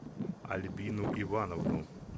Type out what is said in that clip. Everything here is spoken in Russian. альбину ивановну